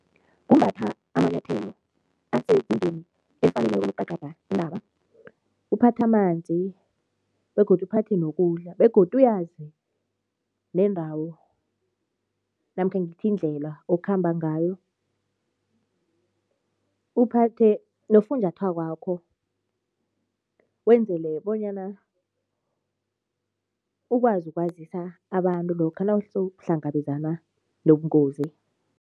Kumbatha amanyathelo asezingeni efaneleko intaba. Uphathe amanzi begodu uphathe nokudla begodu uyazi neendawo namkha ngithi indlela okhamba ngayo, uphathe nofunjathwakwakho wenzele bonyana ukwazi ukwazisa abantu lokha nawusowuhlangabezana nobungozi.